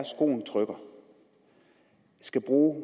skoen trykker skal bruge